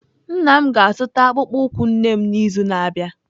Nna m ga-azụta akpụkpọ ụkwụ nne m n'izu na-abịa.